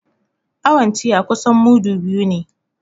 Awon tiya kusan mudu biyu ne